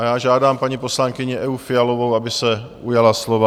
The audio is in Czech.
A já žádám paní poslankyni Evu Fialovou, aby se ujala slova.